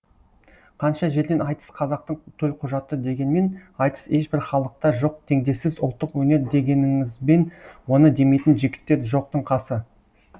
қанша жерден айтыс қазақтың төлқұжаты дегенмен айтыс ешбір халықта жоқ теңдессіз ұлттық өнер дегеніңізбен оны демейтін жігіттер жоқтың қасы